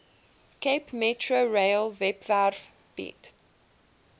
capemetrorail webwerf bied